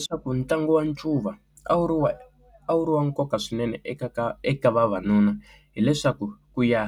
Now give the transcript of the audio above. Leswaku ntlangu wa ncuva a wu ri wa a wu ri wa nkoka swinene eka ka eka vavanuna hileswaku ku ya